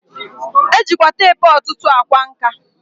E jikwa teepu ọtụtụ a kwa nka.